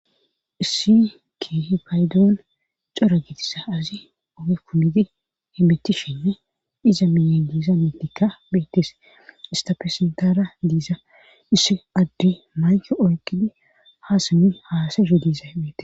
Issi keh faydoon cora gitissa azi oge kumidi himittishenne iza miyegiisa metikka beettes istafesentara diisa issi addi mayke oyqidi haasami haasaho diisa hemeees